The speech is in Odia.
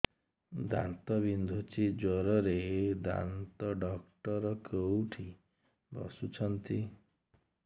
ଦାନ୍ତ ବିନ୍ଧୁଛି ଜୋରରେ ଦାନ୍ତ ଡକ୍ଟର କୋଉଠି ବସୁଛନ୍ତି